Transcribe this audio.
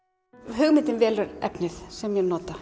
hugmyndin velur efnið sem ég nota